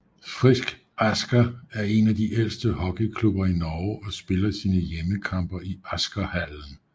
Frisk Asker er en af de ældste hockeyklubber i Norge og spiller sine hjemmekampe i Askerhallen